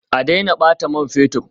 A daina bata man fetur